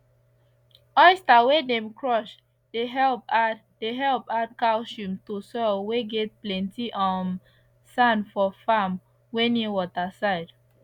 oyster whey dem crush dey help add dey help add calcium to soil whey get plenty um sand for farm whey near water side